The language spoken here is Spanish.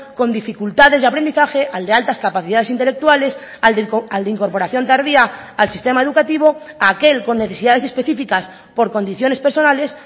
con dificultades de aprendizaje al de altas capacidades intelectuales al de incorporación tardía al sistema educativo a aquel con necesidades específicas por condiciones personales